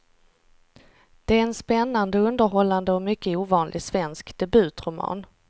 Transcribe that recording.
Det är en spännande, underhållande och mycket ovanlig svensk debutroman.